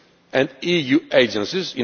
and EU agencies.